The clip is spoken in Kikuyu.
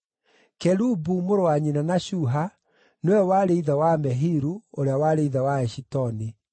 Kelubu, mũrũ wa nyina na Shuha, nĩwe warĩ ithe wa Mehiru, ũrĩa warĩ ithe wa Eshitoni.